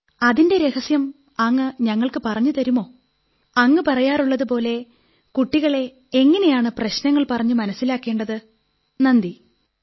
അതിന്റെ രഹസ്യം അങ്ങ് ഞങ്ങൾക്കു പറഞ്ഞു തരുമോ അങ്ങ് സംസാരിക്കുന്നതുപോലെ പ്രശ്നങ്ങളെ ഉന്നയിക്കുന്നതുപോലെ കുട്ടികൾ നന്നായി മനസ്സിലാക്കി നടപ്പാക്കാൻ തക്കവിധം എങ്ങനെയാണ് പറയുന്നത് നന്ദി